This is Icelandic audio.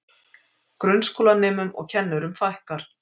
Grunnskólanemum og kennurum fækkar